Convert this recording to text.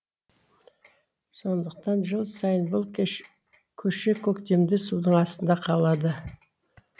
сондықтан жыл сайын бұл көше көктемде судың астында қалады